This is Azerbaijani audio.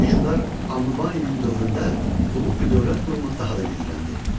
Hökmdar Annubaninin dövründə Lullubi dövlət qurumu daha da gücləndi.